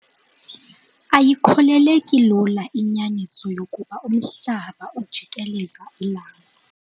Ayikholeleki lula inyaniso yokuba umhlaba ujieleza ilanga.